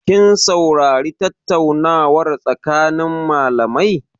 Kin saurari tattaunawar tsakanin malamai?